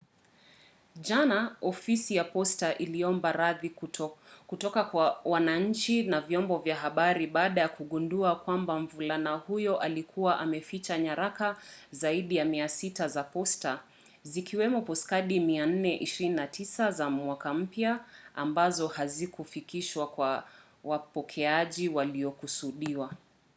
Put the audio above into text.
jana ofisi ya posta iliomba radhi kutoka kwa wananchi na vyombo vya habari baada ya kugundua kwamba mvulana huyo alikuwa ameficha nyaraka zaidi ya 600 za posta zikiwemo postkadi 429 za mwaka mpya ambazo hazikufikishwa kwa wapokeaji waliokusudiwa